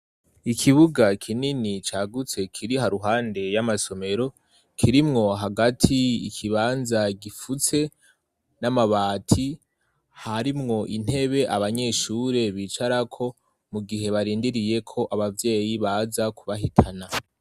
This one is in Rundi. ikibuga kinini cyagutse kiri haruhande y'amasomero kirimwo hagati ikibanza gifutse n'amabati harimwo intebe abanyeshure bicara ko mu gihe barindiriye ko ababyeyi baza kubahitana.